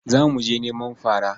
Za mu je neman fara.